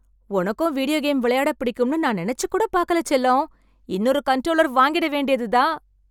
உனக்கும் video game விளையாடப் பிடிக்கும்னு நான் நெனச்சு கூடப் பார்க்கல, செல்லம். இன்னொரு கன்ட்ரோலர் வாங்கிட வேண்டியது தான்!